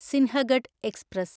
Sinhagad express